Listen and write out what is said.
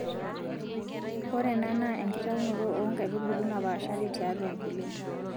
Ore ena naa enkitaunoto oo nkaitubulu naapaashari tiaatu nkulie.